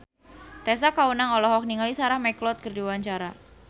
Tessa Kaunang olohok ningali Sarah McLeod keur diwawancara